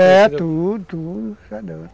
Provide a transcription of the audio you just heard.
É, tudo, tudo.